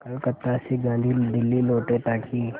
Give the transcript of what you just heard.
कलकत्ता से गांधी दिल्ली लौटे ताकि